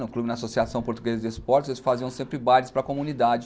No Clube da Associação Portuguesa de Esportes, eles faziam sempre bailes para comunidade.